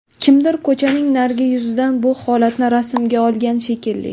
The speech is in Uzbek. Kimdir ko‘chaning narigi yuzidan bu holatni rasmga olgan shekilli.